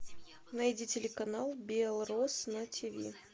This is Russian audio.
найди телеканал белрос на тиви